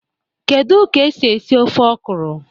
Kedu ka esi esi ofe okra?